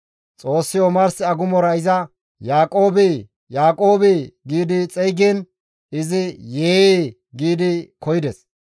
Xoossi omars agumora iza, «Yaaqoobe, Yaaqoobe» gi xeygiin izi, «Yee!» gi koyides.